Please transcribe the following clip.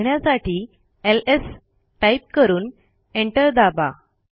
त्या बघण्यासाठी L S type करून एंटर दाबा